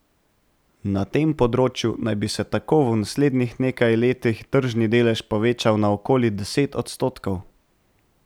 Na tem področju naj bi se tako v naslednjih nekaj letih tržni delež povečal na okoli deset odstotkov.